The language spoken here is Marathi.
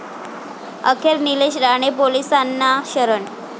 अखेर निलेश राणे पोलिसांना शरण